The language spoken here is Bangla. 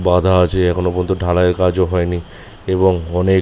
বাঁধা আছে এখনো পর্যন্ত ঢালাইয়ের কাজও হয়নি এবং অনেক--